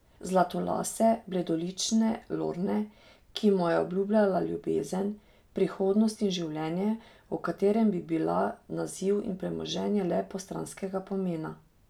Zlatolase, bledolične Lorne, ki mu je obljubljala ljubezen, prihodnost in življenje, v katerem bi bila naziv in premoženje le postranskega pomena.